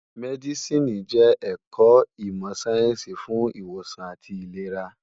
Mèdísìní jè èkò imò sáyènsí fún iwósàn átì ilérá